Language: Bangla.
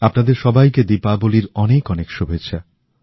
আপনাদের সবাইকে দীপাবলির অনেক অনেক শুভেচ্ছা